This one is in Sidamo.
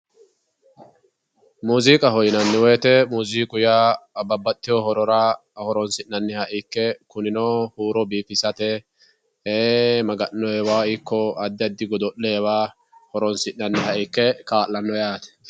Muziiqaho yinnanni woyte muziiqu yaa babbaxxitino horora horonsi'nanniha ikke kunino huuro biifisate e"ee Maga'nowa ikko addi addi godo'lewa horonsi'nanniha ikke kaa'lano yaate.